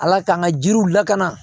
Ala k'an ka jiriw lakana